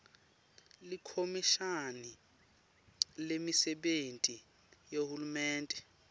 likhomishani lemisebenti yahulumende